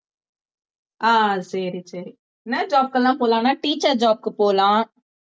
ஆஹ் சரி சரி என்ன job கெல்லாம் போலாம் ஆனா teacher job க்கு போலாம்